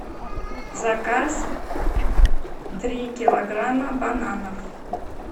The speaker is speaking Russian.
заказ три килограмма бананов